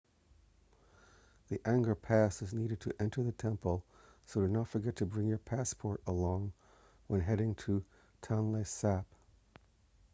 the angkor pass is needed to enter the temple so do not forget to bring your passport along when heading to tonle sap